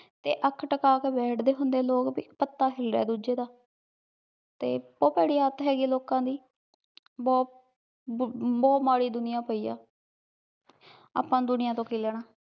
ਤੇ ਅਖ ਤਾਕਾ ਕੇ ਬੈਠਦੇ ਹੁੰਦੇ ਲੋਗ ਭੀ ਪਤਾ ਹਿਲ੍ਯਾ ਆਯ ਦੋਜਯ ਦਾ ਤੇ ਬੋਹਤ ਪੇਰੀ ਆਦਤ ਹੇਗੀ ਆਯ ਲੋਕਾਂ ਦੀ ਬੋਹਤ ਬਹੁ ਮਾਰੀ ਦੁਨਿਆ ਪੈ ਆ ਆਪਾਂ ਦੁਨਿਆ ਤੋਂ ਕੀ ਲੇਣਾ